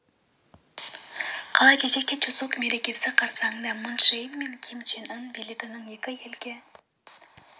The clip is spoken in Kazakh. қалай десек те чусок мерекесі қарсаңында мун чже ин мен ким чен ын билігінің екі елге